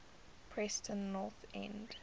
preston north end